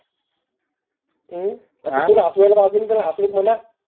आपल्याकडं आजून काये